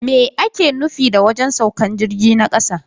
Me ake nufi da wajen saukan jirgi na kasa?